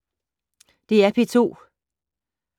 DR P2